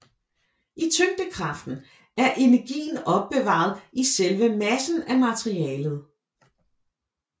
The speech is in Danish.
I tyngdekraften er energien opbevaret i selve massen af materialet